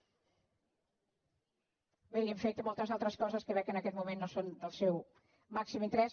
bé i hem fet moltes altres coses que veig que en aquest moment no són del seu màxim interès